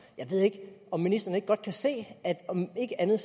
jeg ved ikke om ministeren ikke godt kan se at om ikke andet